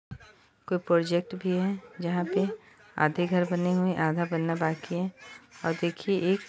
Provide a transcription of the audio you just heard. कोई प्रोजेक्ट भी है जहा पे आधे घर बने हुए हैं आधा बनना बाकी है और देखिये एक--